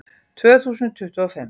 Tvö þúsund tuttugu og fimm